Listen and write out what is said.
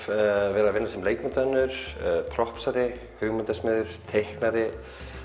að vinna sem leikmyndahönnuður hugmyndasmiður teiknari